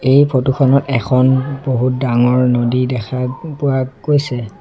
এই ফটো খনত এখন বহুত ডাঙৰ নদী দেখা পোৱা গৈছে।